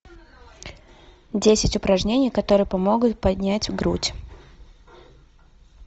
десять упражнений которые помогут поднять грудь